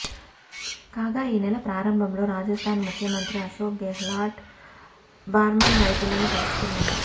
కాగా ఈ నెల ప్రారంభంలో రాజస్థాన్ ముఖ్యమంత్రి అశోక్ గెహ్లాట్ బార్మర్ రైతులను కలుసుకున్నారు